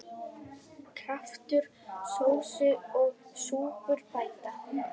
Kraftur sósu og súpur bæta.